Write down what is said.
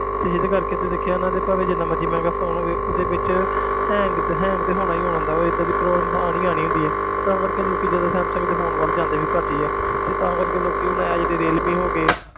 ਤੇ ਜਿਹਦੇ ਕਰਕੇ ਤੂੰ ਦੇਖਿਆ ਇਹਨਾਂ ਭਾਵੇਂ ਜਿੰਨਾ ਮਰਜ਼ੀ ਮਹਿੰਗਾ phone ਹੋਵੇ ਉਹਦੇ ਵਿੱਚ hang ਤੇ hang ਤੇ ਹੋਣਾ ਹੀ ਹੁੰਦਾ ਉਹ ਏਦਾਂ ਦੀ problem ਆਉਣੀ ਹੀ ਆਉਣੀ ਹੁੰਦੀ ਹੈ ਤਾਂ ਕਰਕੇ ਲੋਕੀ ਜ਼ਿਆਦਾ ਸੈਮਸੰਗ ਦੇ phone ਸੈਮਸੰਗ ਦੇ phone ਵੱਲ ਜਾਂਦੇ ਵੀ ਘੱਟ ਹੀ ਆ ਤੇ ਤਾਂ ਕਰਕੇ ਲੋਕੀ ਹੁਣ ਇਹ ਜਿਹੜੇ ਰੀਅਲਮੀ ਹੋ ਗਏ